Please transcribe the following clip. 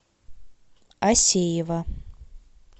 асеева